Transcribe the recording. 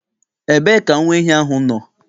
Ebe ka nwa ehi ahụ nọ?